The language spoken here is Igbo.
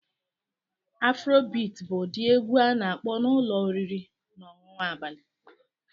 Afrobeat bụ ụdị egwu a na-akpọ na ụlọ oriri na ọṅụṅụ abalị